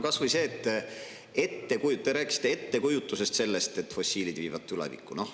Kas või see, et te rääkisite ettekujutusest, nagu fossiilid viiksid tulevikku.